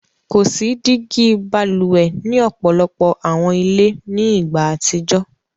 Ko si digi bálúwè ni ọpọlọpọ̀ awọn ilẹ̀ ni igba atijọ.